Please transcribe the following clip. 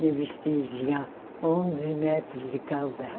Meu vestido tinha onze metros de calda.